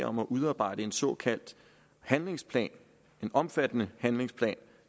om at udarbejde en såkaldt handlingsplan en omfattende handlingsplan